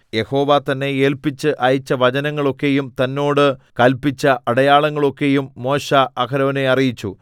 യഹോവ തന്നെ ഏല്പിച്ച് അയച്ച വചനങ്ങളൊക്കെയും തന്നോട് കല്പിച്ച അടയാളങ്ങളൊക്കെയും മോശെ അഹരോനെ അറിയിച്ചു